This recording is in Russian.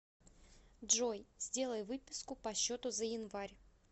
джой сделай выписку по счету за январь